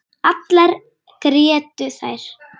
Allar grétu þær.